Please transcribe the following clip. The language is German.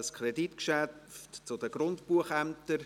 Es handelt sich um ein Kreditgeschäft zu den Grundbuchämtern.